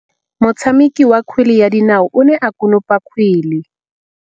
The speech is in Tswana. Motshameki wa kgwele ya dinaô o ne a konopa kgwele.